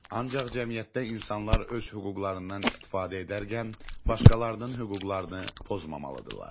Ancaq cəmiyyətdə insanlar öz hüquqlarından istifadə edərkən, başqalarının hüquqlarını pozmamalıdırlar.